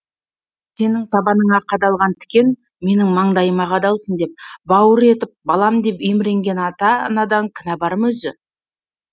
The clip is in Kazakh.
сенің табаныңа қадалған тікен менің маңдайыма қадалсын деп бауыр етіп балам деп еміренген ата анадан кінә бар ма өзі